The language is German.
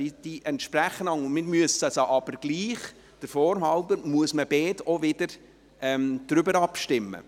Sie entsprechen einander, aber wir müssen der Form halber trotzdem über beide abstimmen.